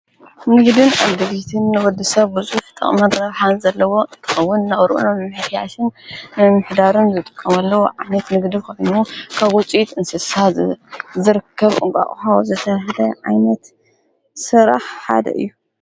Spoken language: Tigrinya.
ንህድን ኣ ድሪትን ወዲ ሰብ ብዙፍ ተቕ መቕረብሓን ዘለዎ እቕውን ናውርእኖ ምሕያስን ንምሕዳርን ዘጥቆምለዉ ዓነት ንግዱ ኮምኑ ካጐፂት እንስሳ ዘርከብ ኦቓኡሃ ዘተህደ ዓይነት ሥራሕ ሓደ እዩ።